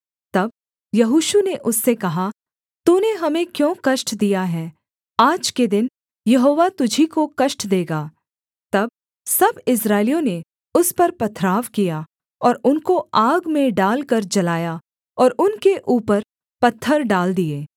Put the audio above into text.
तब यहोशू ने उससे कहा तूने हमें क्यों कष्ट दिया है आज के दिन यहोवा तुझी को कष्ट देगा तब सब इस्राएलियों ने उस पर पथराव किया और उनको आग में डालकर जलाया और उनके ऊपर पत्थर डाल दिए